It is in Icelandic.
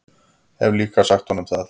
Hef líka sagt honum það.